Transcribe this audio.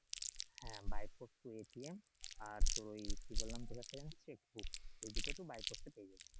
হ্যাঁ পোস্ট তোর আর তোর ওই কি বললাম তোর কাছে এই দুইটা তো বাই এ পেয়ে যাবি